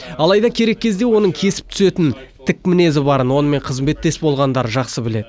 алайда керек кезде оның кесіп түсетін тік мінезі барын онымен қызметтес болғандар жақсы біледі